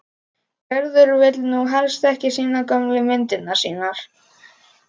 Gerður vill nú helst ekki sýna gömlu myndirnar sínar.